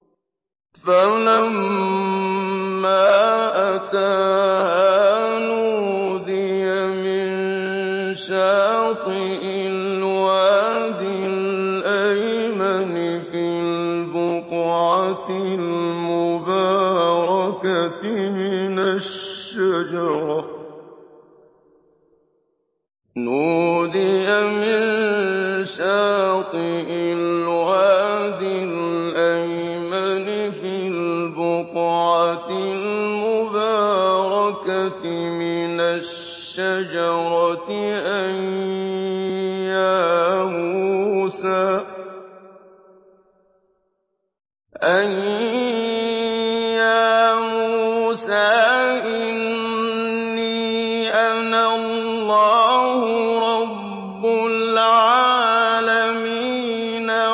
فَلَمَّا أَتَاهَا نُودِيَ مِن شَاطِئِ الْوَادِ الْأَيْمَنِ فِي الْبُقْعَةِ الْمُبَارَكَةِ مِنَ الشَّجَرَةِ أَن يَا مُوسَىٰ إِنِّي أَنَا اللَّهُ رَبُّ الْعَالَمِينَ